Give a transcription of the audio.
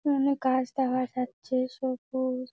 এখানে গাছ দেখা যাচ্ছে সবু-উজ।